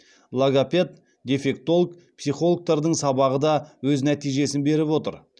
логопед дефектолог психологтардың сабағы да өз нәтижесін беріп отыр